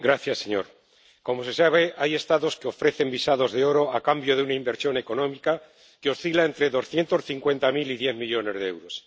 Señor presidente, como se sabe, hay Estados que ofrecen visados de oro a cambio de una inversión económica que oscila entre doscientos cincuenta mil y diez millones de euros.